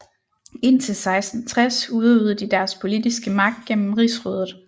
Indtil 1660 udøvede de deres politiske magt gennem Rigsrådet